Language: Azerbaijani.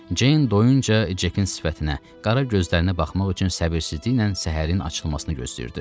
Ceyn doyuncan Cekkin sifətinə, qara gözlərinə baxmaq üçün səbirsizliklə səhərin açılmasını gözləyirdi.